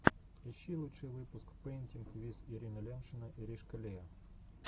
ищи лучший выпуск пэинтинг виз ирина лямшина иришкалиа